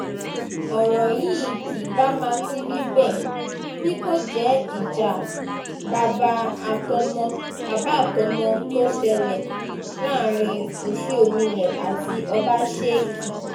ọ̀rọ̀ yìí kì bá má ti rí bẹ́ẹ̀ bí kò jẹ́ ìjà bàbà àtọmọ tó ṣẹlẹ̀ láàrin oṣíọ́milé àti ọbaṣẹ́kí